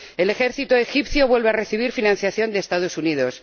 El ejército egipcio vuelve a recibir financiación de los Estados Unidos.